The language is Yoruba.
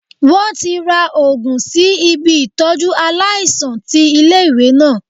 Wọ́n ti ra Ògùn sí ibi Ìtọ́jú aláìsàn ti ilé ìwé náà.